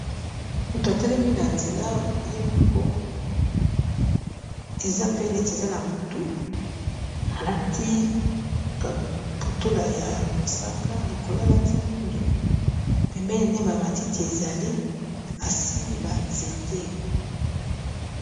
Motu atelemi na nzela ye moko eza pe neti eza na butu, alati kaputula ya mosaka likolo alati mwindu. Pembeni naye ba matiti ezali, asimbi ba nzete.